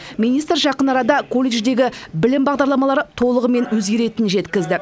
министр жақын арада колледждегі білім бағдарламалары толығымен өзгеретінін жеткізді